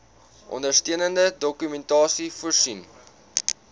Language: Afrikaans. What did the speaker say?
ondersteunende dokumentasie voorsien